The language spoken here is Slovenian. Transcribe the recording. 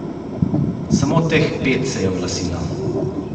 Samo teh pet se je oglasilo!